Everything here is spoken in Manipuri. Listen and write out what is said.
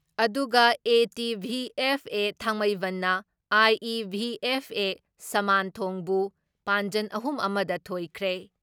ꯑꯗꯨꯒ ꯑꯦ.ꯇꯤ.ꯚꯤ.ꯑꯦꯐ.ꯑꯦ ꯊꯥꯡꯃꯩꯕꯟꯅ ꯑꯥꯏ.ꯏ.ꯚꯤ.ꯑꯦꯐ.ꯑꯦ ꯁꯃꯥꯟꯊꯣꯡꯕꯨ ꯄꯥꯟꯖꯟ ꯑꯍꯨꯝ ꯑꯃ ꯗ ꯊꯣꯏꯈ꯭ꯔꯦ ꯫